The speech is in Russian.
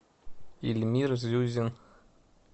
ильмир зюзин